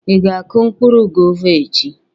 Ị ga akụ mkpụrụ gova echi?